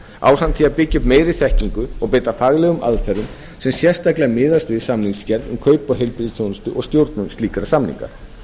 ásamt því að byggja upp meiri þekkingu og beita faglegum aðferðum sem sérstaklega miðast við samningagerð um kaup á heilbrigðisþjónustu og stjórnun slíkra samninga